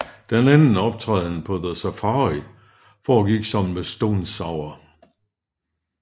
Deres anden optræden på the Safari foregik sammen med Stone Sour